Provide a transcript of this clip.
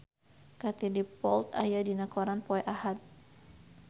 Katie Dippold aya dina koran poe Ahad